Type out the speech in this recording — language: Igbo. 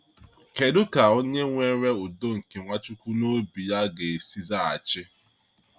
Kedu ka onye nwere udo nke Nwachukwu n’obi ya ga-esi zaghachi?